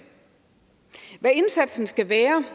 hvad indsatsen skal være